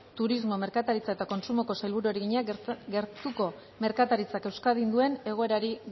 turismo merkataritza eta kontsumoko sailburuari egina gertuko merkataritzak euskadin duen egoerari